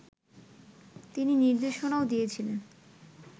তিনি নির্দেশনাও দিয়েছিলেন